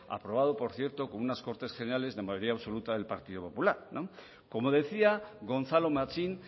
aprobado por cierto con unas cortes generales de mayoría absoluta del partido popular como decía gonzalo machín